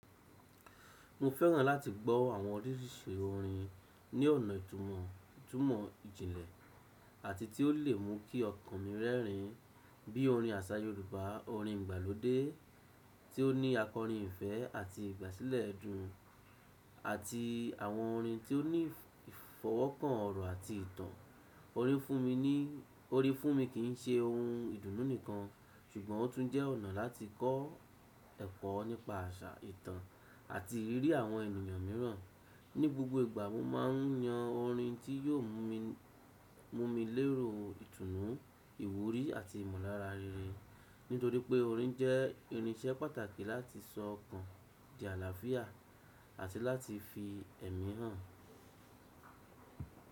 Mo fẹ́ràn láti gbọ́ àwọn oríṣiríṣi orin ní ọ̀nà ìtumọ̀ ìtumọ̀ ìjìnlẹ̀ àti tí ó lè mú kí ọkàn mi rẹ́rìn, bí i orin àṣà Yorùbá, orin ìgbàlódé tí ó ní àkọ́rin ìfẹ́ àti ìgbàsílẹ̀ ẹdun, àti àwọn orin tí ó ní ìfọwọ́kàn ọ̀rọ̀ àti ìtàn. Orin fún mi ní, orin fún mi kì ń ṣe ohun ìdùnnú nìkan, ṣùgbọ́n ó tún jẹ́ ọ̀nà láti kọ́ ẹ̀kọ́ nípa àṣà, ìtàn àti ìrírí àwọn ènìyàn mìíràn. Ni gbogbo ìgbà mo máa ń yan orin tí yóò mú mi, mú mi lérò ìtùnú, ìwúrí àti ìmọ̀lára rere. Nítorí pé orin jẹ́ irinṣẹ́ pàtàkì láti sọ ọkàn di àlàáfíà àti láti fi ẹ̀mí hàn.